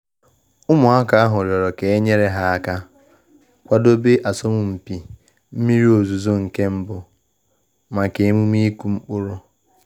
Ụmụaka ahu rịọrọ ka e nyere ha aka kwadebe asọmpi mmiri ozuzo mbụ maka emume ịkụ mkpụrụ